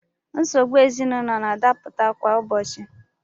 Nsogbu ezinaụlọ na-adapụta kwa ụbọchị.